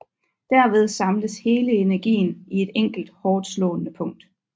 Derved samles hele energien i et enkelt hårdtslående punkt